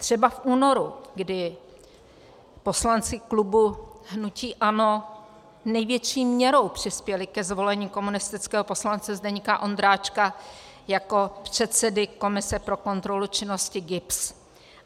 Třeba v únoru, kdy poslanci klubu hnutí ANO největší měrou přispěli ke zvolení komunistického poslance Zdeňka Ondráčka jako předsedy komise pro kontrolu činnosti GIBS.